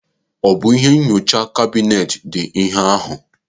Ọ bụ ihe nkọcha kabinet dị ihe ahụ?